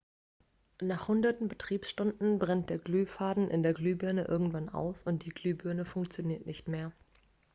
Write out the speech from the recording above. nach hunderten betriebsstunden brennt der glühfaden in der glühbirne irgendwann aus und die glühbirne funktioniert nicht mehr